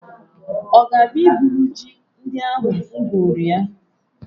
Ọ ga-abịa iburu ji ndị ahụ m gwuru ya?